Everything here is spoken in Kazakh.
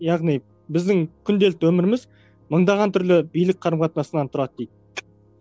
яғни біздің күнделікті өміріміз мыңдаған түрлі билік қарым қатынасынан тұрады дейді